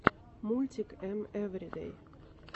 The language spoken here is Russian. мультик эм эвридэй